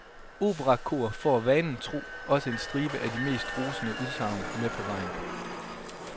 Operakor får, vanen tro, også en stribe af de mest rosende udsagn med på vejen.